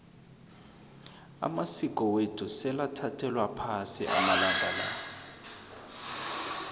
amasiko wethu sewathathelwa phasi amalanga la